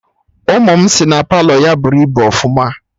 Ụmụ m si na Palọ ya bụrụ ibu ọfụma